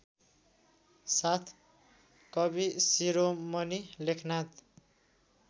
साथ कविशिरोमणि लेखनाथ